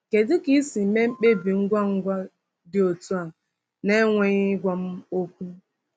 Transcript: Kedu ka i si mee mkpebi ngwa ngwa dị otu a n’enweghị ịgwa m okwu?”